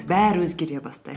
бәрі өзгере бастайды